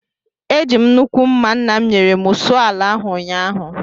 Eji m nnukwu mma nna m nyere m sụọ ala ahụ ụnyahụ